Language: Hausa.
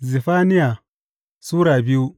Zefaniya Sura biyu